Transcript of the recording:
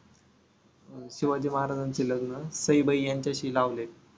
शिवाजी महाराजांचे लग्न सईबाई यांच्याशी लावले.